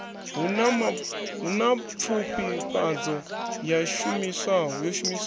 hu na pfufhifhadzo yo shumiswaho